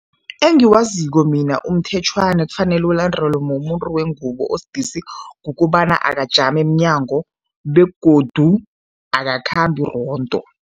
Engiwaziko mina umthetjhwana ekufanele ulandelwe mumuntu wengubo osidisi, kukobana akajami emnyango begodu akakhambi rondo.